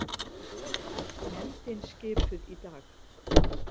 Nefndin skipuð í dag